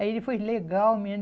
Aí ele foi legal, menina.